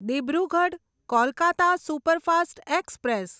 Dibrugarh Kolkata superfast express